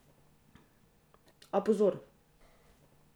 A, pozor.